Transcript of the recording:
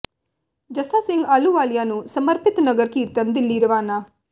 ਜੱਸਾ ਸਿੰਘ ਆਹਲੂਵਾਲੀਆ ਨੂੰ ਸਮਰਪਿਤ ਨਗਰ ਕੀਰਤਨ ਦਿੱਲੀ ਰਵਾਨਾ